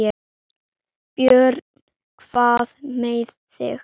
Björn: Hvað með þig?